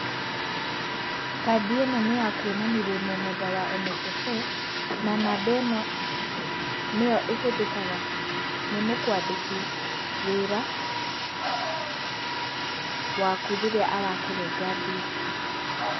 Kandi ĩno nĩya kwonani wĩmũmemba wa NSSF, na namba ĩno nĩyoĩhũthũkaga nĩ mũkwandĩki wĩra waku rĩrĩa arakũrenga mbia.